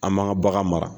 An m'an ka bagan mara